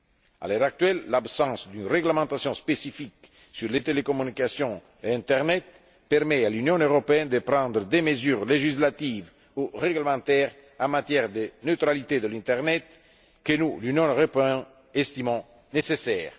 À l'heure actuelle, l'absence d'une réglementation spécifique sur les télécommunications et internet permet à l'Union européenne de prendre des mesures législatives ou réglementaires en matière de neutralité de l'internet que nous, Union européenne, estimons nécessaires.